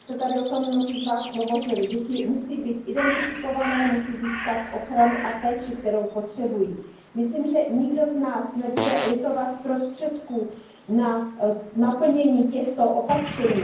Už jste tady o tom mnozí z vás hovořili. Děti musí být identifikovány, musí získat ochranu a péči, kterou potřebují. Myslím, že nikdo z nás nebude litovat prostředků na naplnění těchto opatření.